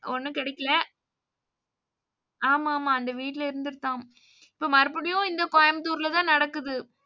ஒன்னும் கிடைக்கல ஆமா ஆமா அந்த வீட்டுல இருந்துதான் இப்போ மறுபடியும் இந்த கோயம்புத்தூர்ல தான் நடக்குது.